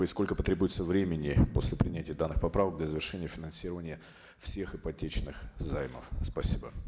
и сколько потребуется времени после принятия данных поправок для завершения финансирования всех ипотечных займов спасибо